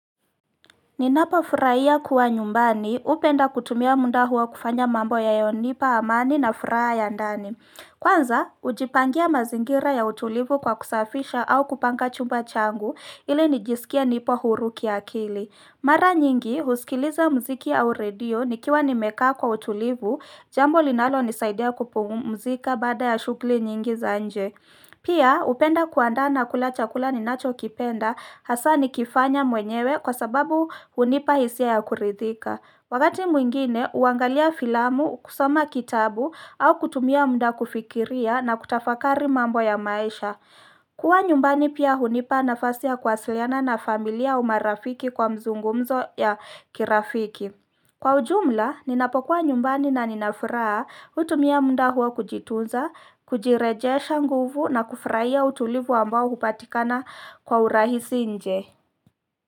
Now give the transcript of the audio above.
Ninapo furaia kuwa nyumbani upenda kutumia munda huo kufanya mambo ya yonipa amani na furaha ya ndani. Kwanza, ujipangia mazingira ya utulivu kwa kusafisha au kupanga chumba changu ili nijisikie nipo huru kiakili. Mara nyingi, husikiliza mziki au radio nikiwa nimekaa kwa utulivu jambo linalo nisaidia kupumzika baada ya shugli nyingi za nje. Pia upenda kuandaa na kula chakula ni nacho kipenda hasa ni kifanya mwenyewe kwa sababu hunipa hisia ya kuridhika. Wakati mwingine uangalia filamu, kusoma kitabu au kutumia munda kufikiria na kutafakari mambo ya maisha. Kuwa nyumbani pia hunipa nafasi ya kuwasiliana na familia au marafiki kwa mzungumzo ya kirafiki. Kwa ujumla, ninapokuwa nyumbani na ninafuraha utumia munda huo kujitunza, kujirejesha nguvu na kufraia utulivu ambao hupatikana kwa urahisi nje.